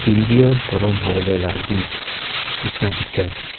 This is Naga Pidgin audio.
bia para korom hobole la din nishena dekhi ase.